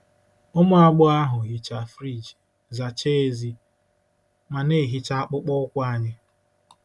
Ụmụ agbọghọ ahụ hichaa friji, zachaa èzí, ma na-ehicha akpụkpọ ụkwụ anyị.